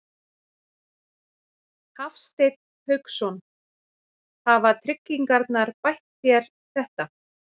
Hafsteinn Hauksson: Hafa tryggingarnar bætt þér þetta?